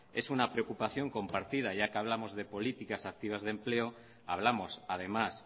es una preocupación compartida ya que hablamos de políticas activas de empleo hablamos además